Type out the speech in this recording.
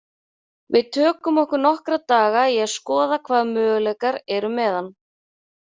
Við tökum okkur nokkra daga í að skoða hvaða möguleikar eru með hann.